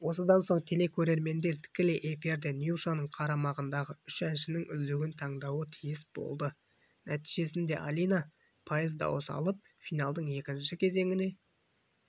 осыдан соң телекөрермендер тікелей эфирде нюшаның қарамағындағы үш әншінің үздігін таңдауы тиіс болды нәтижесінде алина пайыз дауыс алып финалдың екінші кезеңіне